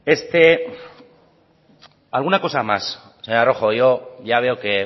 este alguna cosa más señora rojo yo ya veo que